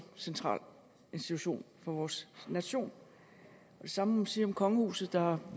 central institution for vores nation det samme sige om kongehuset der har